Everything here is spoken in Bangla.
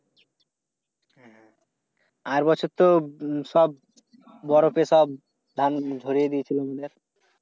আর বছর তো সব বরফে সব ধান ভরিয়ে দিয়েছিল।